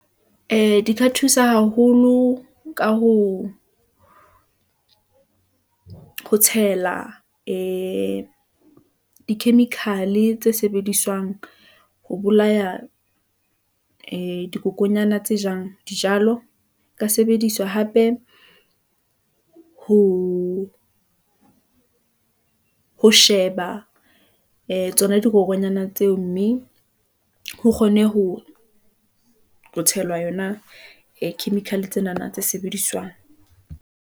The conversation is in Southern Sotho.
Ee, di ka thusa haholo ka ho tshela, ee di-chemical-e tse sebediswang ho bolaya ee di dikokonyana tse jang dijalo , ho ka sebediswa hape ho sheba ee tsona dikokonyana tseo , mme ha kgone ho tshelwa yona , ee chemical-e tsenana tse sebediswang.